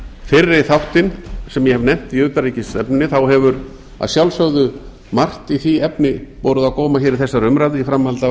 fyrri þáttinn sem ég hef nefnt í utanríkisstefnunni þá hefur að sjálfsögðu margt í því efni borið á góma hér í þessari umræðu í framhaldi af